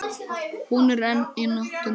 Hún er enn í notkun.